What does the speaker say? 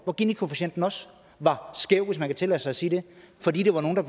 hvor ginikoefficienten også var skæv hvis man kan tillade sig at sige det fordi der var nogle der